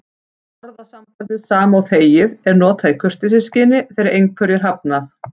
Orðasambandið sama og þegið er notað í kurteisisskyni þegar einhverju er hafnað.